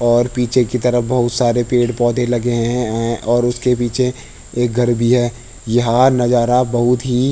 और पीछे की तरफ बहोत सारे पेड़-पौधे लगे हैं और उसके पीछे एक घर भी हैं यह नजारा बहोत ही --